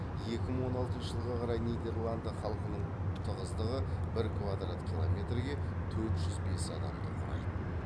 екі мың он алтыншы жылға қарай нидерланды халықтың тығыздығы бір квадрат километрге төрт жүз бес адамды құрайды